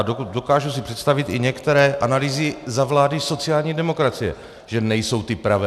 A dokážu si představit i některé analýzy za vlády sociální demokracie, že nejsou ty pravé.